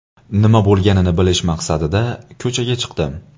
Nima bo‘lganini bilish maqsadida ko‘chaga chiqdim.